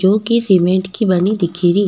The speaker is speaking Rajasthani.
जो की सीमेंट की बनी दिखेरी।